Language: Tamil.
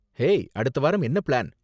ஹேய், அடுத்த வாரம் என்ன பிளான்?